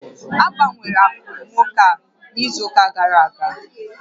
Agbanwere akụrụ nwoke a n'izu ụka gara aga